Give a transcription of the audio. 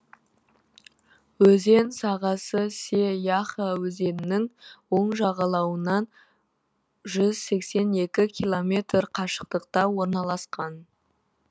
өзен сағасы се яха өзенінің оң жағалауынан жүз сексен екі километр қашықтықта орналасқан